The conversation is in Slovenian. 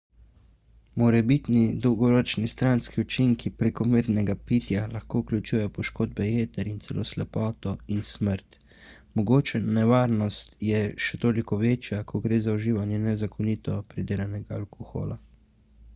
morebitni dolgoročni stranski učinki prekomernega pitja lahko vključujejo poškodbe jeter in celo slepoto in smrt mogoča nevarnost je še toliko večja ko gre za uživanje nezakonito pridelanega alkohola